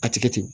A tigɛ ten